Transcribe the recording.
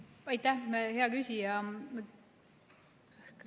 Aitäh, hea küsija!